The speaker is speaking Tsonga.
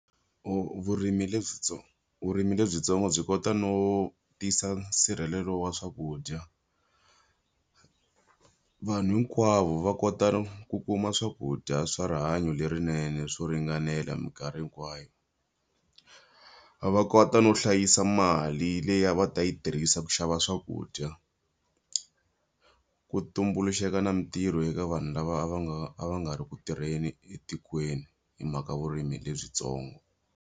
Vurimi vurimi lebyintsongo byi kota no tisa nsirhelelo wa swakudya. Vanhu hinkwavo va kota ku kuma swakudya swa rihanyo lerinene swo ringanela minkarhi hinkwayo. Va va kota no hlayisa mali leyi a va ta yi tirhisa ku xava swakudya. Ku tumbuluxeka na mintirho eka vanhu lava va nga a va nga ri ku tirheni etikweni hi mhaka vurimi lebyintsongo.